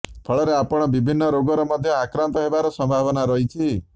ଫଳରେ ଆପଣ ବିଭିନ୍ନ ରୋଗର ମଧ୍ୟ ଆକ୍ରାନ୍ତ ହେବାର ସମ୍ଭାବନା ରହିଛି